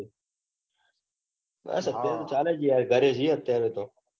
બસ અત્યાર તો ચાલે જઈએ ગરે જઈએ અત્યારે તો.